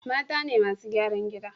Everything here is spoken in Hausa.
Mata ne masu gyaran gida